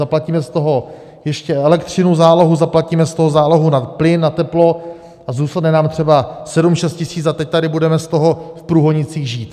Zaplatíme z toho ještě elektřinu, zálohu, zaplatíme z toho zálohu na plyn a teplo a zůstane nám třeba sedm, šest tisíc a teď tady budeme z toho v Průhonicích žít.